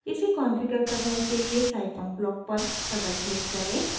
इसे कॉन्फ़िगर करने के लिए scifunc ब्लॉक पर डबल क्लिक करें